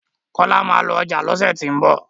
kola má lọ ọjà lọsẹ ti n bọ